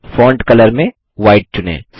font colour में white चुनें